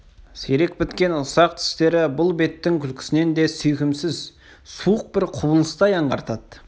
сирек біткен ұсақ тістері бұл беттің күлкісін де сүйкімсіз суық бір құбылыстай аңғартады